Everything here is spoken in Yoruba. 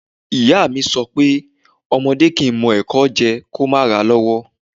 Iya mi so pé ọmọdẹ́ kìí mọ ẹ̀kọ jẹ kìí o ma ra lọ́wọ́'